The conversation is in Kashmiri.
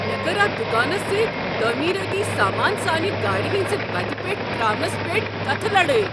مےٚ کٔر اتھ دکانس سۭتۍ تعمیرٲتی سامان سانہ گاڑِ ہنزِ وتہِ پیٹھ ترٛاونس پیٹھ کتھہٕ لڑٲے۔